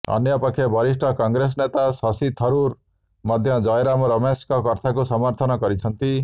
ଅନ୍ୟପକ୍ଷେ ବରିଷ୍ଠ କଂଗ୍ରେସ ନେତା ଶଶି ଥରୁର୍ ମଧ୍ୟ ଜୟରାମ ରମେଶଙ୍କ କଥାକୁ ସମର୍ଥନ କରିଛନ୍ତି